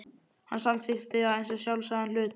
Hann samþykkti það eins og sjálfsagðan hlut.